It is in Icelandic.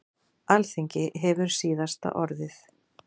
Alþingi hefur síðasta orðið